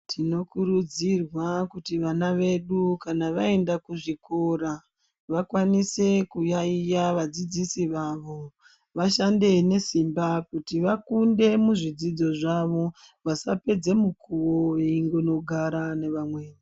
Tinokurudzirwa kuti vana vedu kana vaienda kuzvikora ,vakwanise kuyaiya vadzidzisi vavo .Vashande nesimba kuti vakunde muzvidzidzo zvawo ,vasapedze mukuvi ngekugara ngevamweni.